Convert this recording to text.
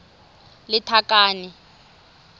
lethakane